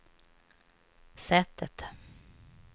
sättet